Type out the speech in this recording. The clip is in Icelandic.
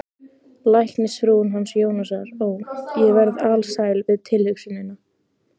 Læknisfrúin hans Jónasar, ó, ég verð alsæl við tilhugsunina